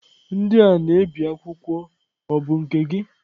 Ndị a na-ebi akwụkwọ ọ bụ nke gị?